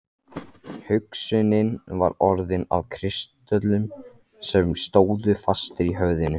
Hugsunin var orðin að kristöllum sem stóðu fastir í höfðinu.